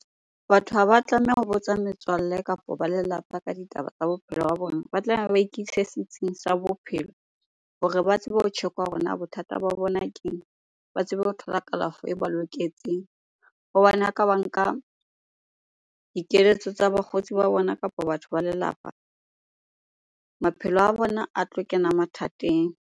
Batho ha ba tlameha ho botsa metswalle kapa ba lelapa ka ditaba tsa bophelo ba bona. Ba ba ikise setsing sa bophelo hore ba tsebe ho tjhekwa hore na bothata ba bona keng? Ba tsebe ho thola kalafo e ba loketseng hobane a ka ba nka dikeletso tsa bakgotsi ba bona kapo batho ba lelapa, maphelo a bona a tlo kena mathateng.